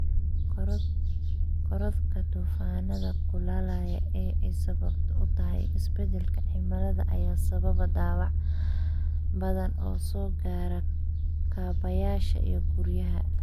Korodhka duufaanada kulaalale ee ay sabab u tahay isbedelka cimilada ayaa sababa dhaawac badan oo soo gaara kaabayaasha iyo guryaha.